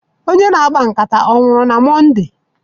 Onye na-akpa nkata onwuru na Mọnde?